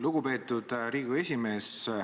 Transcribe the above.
Lugupeetud Riigikogu esimees!